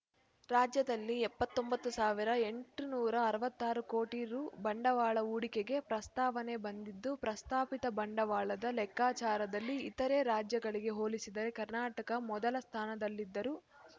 ರಾಜ್ಯದಲ್ಲಿ ಎಪ್ಪತ್ತೊಂಬತ್ತು ಎಂಟುನೂರ ಅರವತ್ತ್ ಆರು ಕೋಟಿ ರು ಬಂಡವಾಳ ಹೂಡಿಕೆಗೆ ಪ್ರಸ್ತಾವನೆ ಬಂದಿದ್ದು ಪ್ರಸ್ತಾಪಿತ ಬಂಡವಾಳದ ಲೆಕ್ಕಾಚಾರದಲ್ಲಿ ಇತರೆ ರಾಜ್ಯಗಳಿಗೆ ಹೋಲಿಸಿದರೆ ಕರ್ನಾಟಕ ಮೊದಲ ಸ್ಥಾನದಲ್ಲಿದ್ದರೂ